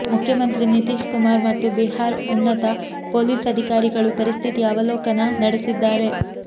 ಮುಖ್ಯಮಂತ್ರಿ ನಿತೀಶ್ ಕುಮಾರ್ ಮತ್ತು ಬಿಹಾರ್ ಉನ್ನತ ಪೊಲೀಸ್ ಅಧಿಕಾರಿಗಳು ಪರಿಸ್ಥಿತಿಯ ಅವಲೋಕನ ನಡೆಸಿದ್ದಾರೆ